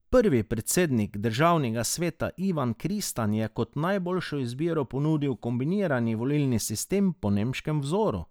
Prvi predsednik državnega sveta Ivan Kristan je kot najboljšo izbiro ponudil kombinirani volilni sistem po nemškem vzoru.